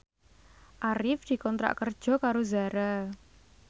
Arif dikontrak kerja karo Zara